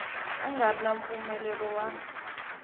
nga ri na mpfumelelo wa